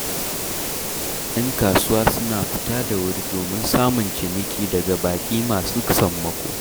Yan kasuwa suna fita da wuri domin samun ciniki daga baƙi masu sammako.